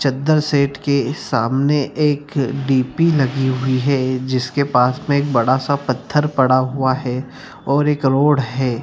चद्दर सेट के सामने एक डी.पी. लगी हुई है जिसके पास में एक बड़ा सा पत्थर पड़ा हुआ है और एक रोड है।